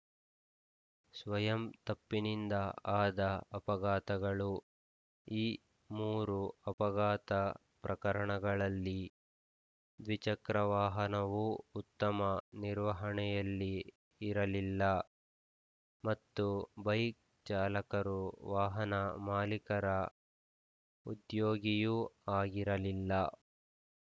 ಸ್ವಯಂ ತಪ್ಪಿನಿಂದ ಆದ ಅಪಘಾತಗಳು ಈ ಮೂರು ಅಪಘಾತ ಪ್ರಕರಣಗಳಲ್ಲಿ ದ್ವಿಚಕ್ರ ವಾಹನವು ಉತ್ತಮ ನಿರ್ವಹಣೆಯಲ್ಲಿ ಇರಲಿಲ್ಲ ಮತ್ತು ಬೈಕ್‌ ಚಾಲಕರು ವಾಹನ ಮಾಲೀಕರ ಉದ್ಯೊಗಿಯೂ ಆಗಿರಲಿಲ್ಲ